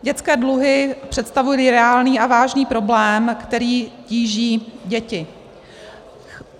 Dětské dluhy představují reálný a vážný problém, který tíží děti.